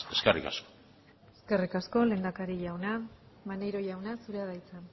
eskerrik asko eskerrik asko lehendakari jauna maneiro jauna zurea da hitza